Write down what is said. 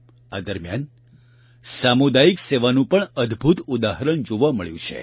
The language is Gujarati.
આ દરમ્યાન સામુદાયિક સેવાનું પણ અદભૂત ઉદાહરણ જોવા મળ્યું છે